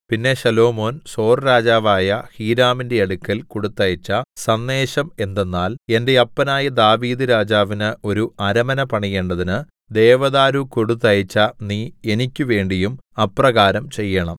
പിന്നെ ശലോമോൻ സോർരാജാവായ ഹീരാമിന്റെ അടുക്കൽ കൊടുത്തയച്ച സന്ദേശം എന്തെന്നാൽ എന്റെ അപ്പനായ ദാവീദ് രാജാവിന് ഒരു അരമന പണിയേണ്ടതിന് ദേവദാരു കൊടുത്തയച്ച നീ എനിക്കുവേണ്ടിയും അപ്രകാരം ചെയ്യേണം